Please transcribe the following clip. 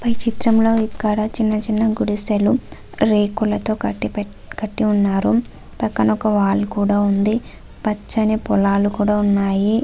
పై చిత్రంలో ఇక్కడ చిన్న చిన్న గుడిసెలు రేకులతో కటి పేటి కట్టి ఉన్నారు. పక్కన ఒక వాలు కూడా ఉంది. పచ్చని పొలాలు కూడా ఉన్నాయి.